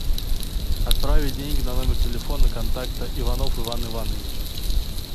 отправить деньги на номер телефона контакта иванов иван иванович